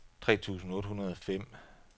tre tusind otte hundrede og fem